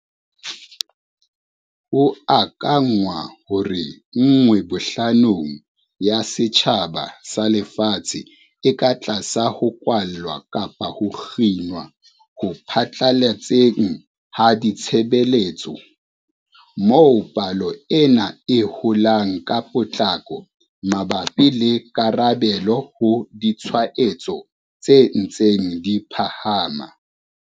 Ho akanngwa hore nngwe bohlanong ya setjhaba sa lefatshe e ka tlasa ho kwallwa kapa ho kginwa ho phatlaletseng ha ditshebeletso, moo palo ena e holang ka potlako mabapi le karabelo ho ditshwaetso tse ntseng di phahama.